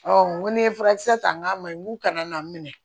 n ko ni ye furakisɛ ta n k'a ma ɲi k'u kana n minɛ